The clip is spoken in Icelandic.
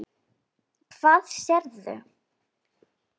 Hvað sérðu?